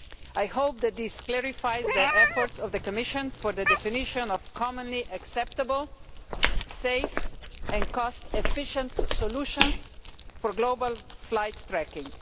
I hope that this clarifies the efforts being made by the Commission for the definition of commonly acceptable safe and cost efficient solutions for global flight tracking.